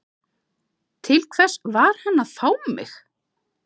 Til hvers var hann að fá mig?